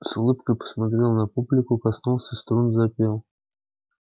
с улыбкой посмотрел на публику коснулся струн запел